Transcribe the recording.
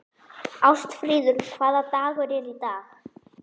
Ástfríður, hvaða dagur er í dag?